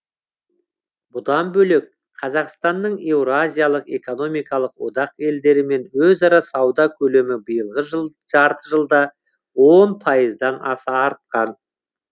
бұдан бөлек қазақстанның еуразиялық экономикалық одақ елдерімен өзара сауда көлемі биылғы жарты жылда он пайыздан аса артқан